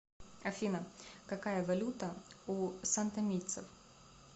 афина какая валюта у сантомийцев